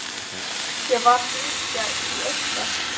Ég varð að hringja í einhvern.